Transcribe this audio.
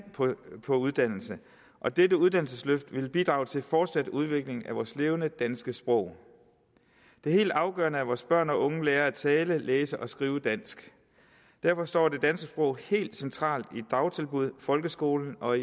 på uddannelse og dette uddannelsesløft vil bidrage til en fortsat udvikling af vores levende danske sprog det er helt afgørende at vores børn og unge lærer at tale læse og skrive dansk derfor står det danske sprog helt centralt i dagtilbud folkeskolen og